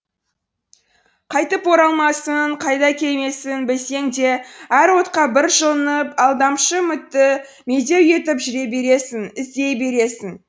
қайтып оралмасын қайта келмесін білсең де әр отқа бір жылынып алдамшы үмітті медеу етіп жүре бересің іздей бересің